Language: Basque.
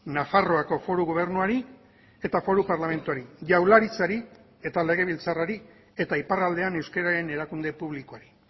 nafarroako foru gobernuari eta foru parlamentuari jaurlaritzari eta legebiltzarrari eta iparraldean euskararen erakunde publikoari